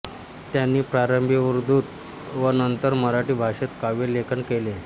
त्यांनी प्रारंभी उर्दूत व नंतर मराठी भाषेत काव्यलेखन केले